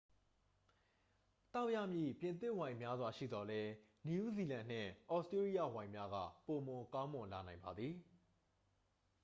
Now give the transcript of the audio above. သောက်ရမည့် ပြင်သစ်ဝိုင်များစွာ ရှိသော်လည်း နယူးဇီလန်နှင့် သြစတြေးလျဝိုင်များက ပိုမိုကောင်းမွန်လာနိုင်ပါသည်